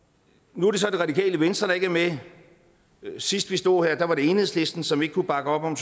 nu er det så det radikale venstre der ikke er med og sidst vi stod her var det enhedslisten som ikke kunne bakke op om